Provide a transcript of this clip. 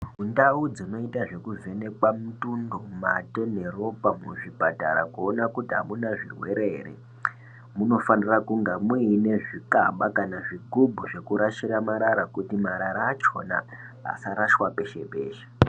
Ndau dzinoita zvekuvhenekwa mutundo mate neropa muzvipatara kuona kuti amuna zvirwere ere munofanira kunge muine zvikaba kana zvigubhu zvekurashire marara kuti marara achona asarashwa peshe peshe.